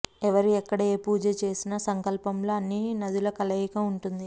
ఎవరు ఎక్కడ ఏ పూజ చేసినా సంకల్పంలో అన్ని నదుల కలయిక ఉంటుంది